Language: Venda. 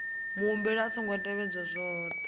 muhumbeli a songo tevhedza zwohe